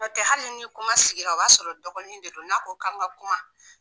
N'ɔtɛ hali ni kuma sigira o b'a sɔrɔ dɔgɔnin ne don n'a ko an ka kuma.